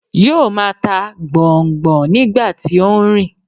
Yóo máa ta gbọ̀n-ọ́n-gbọ̀n-ọ́n nígbà tí ó ń rìn.